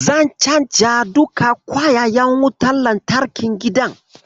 Zan canza duka kwayayen wutar lantarkin gidan.